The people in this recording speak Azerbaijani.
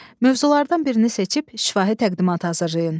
Mövzulardan birini seçib şifahi təqdimat hazırlayın.